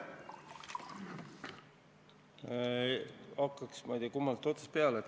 Hakkaks ma ei tea kummast otsast peale.